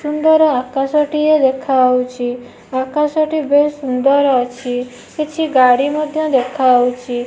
ସୁନ୍ଦର ଆକାଶଟିଏ ଦେଖାଉଚି ଆକାଶଟି ବେଶ୍ ସୁନ୍ଦର୍ ଅଛି କିଛି ଗାଡି ମଧ୍ୟ ଦେଖାଉଚି ।